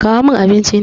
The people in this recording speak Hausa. Kawo min abinci na!